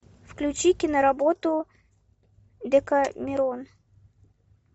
включи киноработу декамерон